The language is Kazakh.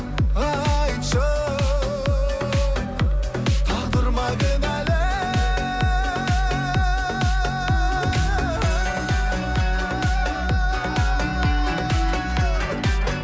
айтшы тағдыр ма кінәлі